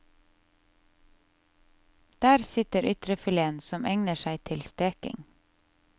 Der sitter ytrefileten, som egner seg til steking.